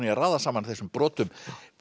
í að raða saman þessum brotum